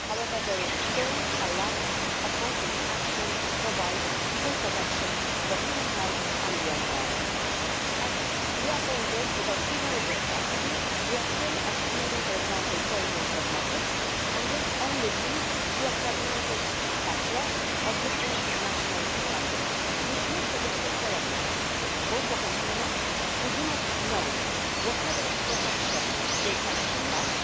However, there is still a lack of concrete action to provide full protection for human health and the environment. We are saying this because, even with the strategy, we are still excluding, for example, toys and cosmetics, and this only leads to a fragmented patchwork of different national standards, which makes it difficult for everyone, both for consumers, who do not know what level of protection they can expect,